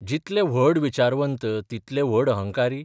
जितले व्हड विचारवंत तितले व्हड अहंकारी?